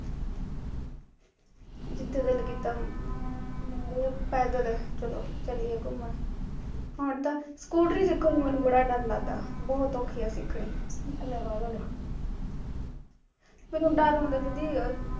ਜਿਥੇ ਦਿਲ ਕੀਤਾ ਮਾਰਿਆ ਪੈਡਲ ਚਲੋ ਚੱਲੀਏ ਘੁੰਮਣ ਹੁਣ ਤਾਂ, ਸਕੂਟਰੀ ਸਿੱਖਣ ਨੂੰ ਮੈਨੂੰ ਬੜਾ ਡਰ ਲੱਗਦਾ, ਬਹੁਤ ਔਖੀ ਐ ਸਿੱਖਣੀ ਮੈਂਨੂੰ ਡਰ ਆਉਂਦਾ ਦੀਦੀ